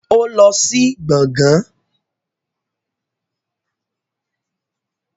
Ó lọ sí gbàngán